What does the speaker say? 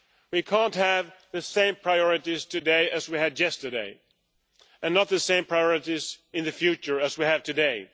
We cannot have the same priorities today as we had yesterday, nor the same priorities in the future as we have today.